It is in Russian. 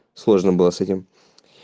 сложно было с этим